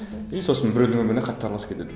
и сосын біреудің өміріне қатты араласып кетеді